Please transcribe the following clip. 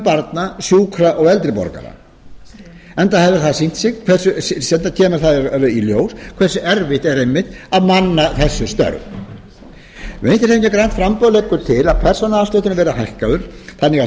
barna sjúkra og eldri borgara enda kemur það í ljós hversu erfitt er einmitt að manna þessi störf vinstri hreyfingin grænt framboð leggur ætla að persónuafslátturinn verði hækkaður þannig að